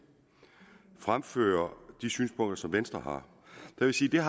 fremfører de synspunkter som venstre har vil jeg